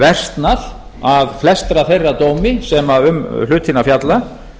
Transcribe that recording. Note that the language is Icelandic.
versnað að flestra þeirra dómi sem um hlutina fjalla